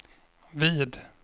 vid